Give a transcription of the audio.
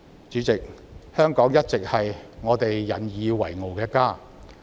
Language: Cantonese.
主席，香港一直是我們引以為傲的家。